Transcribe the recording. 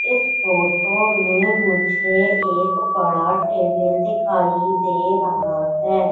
इस फोटो मे मुझे एक बड़ा टेबल दिखाई दे रहा है।